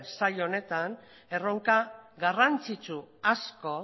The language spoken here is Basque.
saila honetan erronka garrantzitsu asko